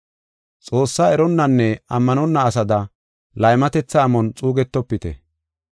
Xoossaa eronnanne ammanonna asada laymatetha amon xuugetofite.